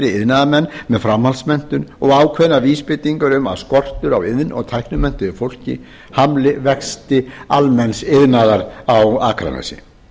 iðnaðarmenn með framhaldsmenntun og ákveðnar vísbendingar um að skortur á iðn og tæknimenntuðu fólki hamlaði vexti almenns iðnaðar á akranesi